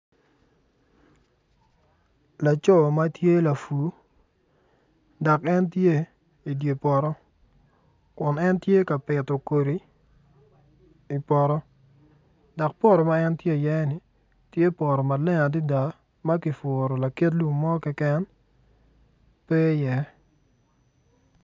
Laco ma tye lapur dok en tye i dye poto kun en tye ka pito kodi i poto dok poto ma en tye iye ni tye poto maleng adada ma kipuro lakit lum mo keken pe iye.